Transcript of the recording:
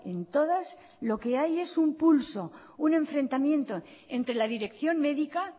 en todas lo que hay es un pulso un enfrentamiento entre la dirección médica